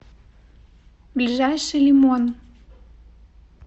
ближайший лимон